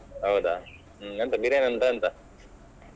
ಹೌದ ಹ್ಮ್ ಎಂತ biriyani ಉಂಟಾ ಎಂತ.